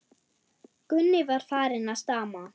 Gunni var farinn að stama.